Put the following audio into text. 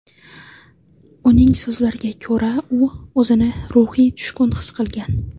Uning so‘zlariga ko‘ra, u o‘zini ruhiy tushkun his qilgan.